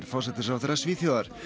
forsætisráðherra Svíþjóðar